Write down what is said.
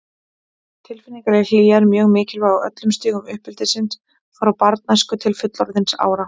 Tilfinningaleg hlýja er mjög mikilvæg á öllum stigum uppeldisins, frá barnæsku til fullorðinsára.